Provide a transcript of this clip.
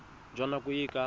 jwa nako e e ka